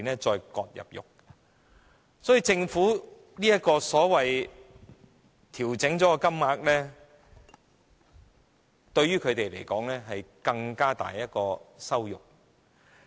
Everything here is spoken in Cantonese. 所以，政府這個所謂已調整的金額，對於他們而言，是更大的羞辱。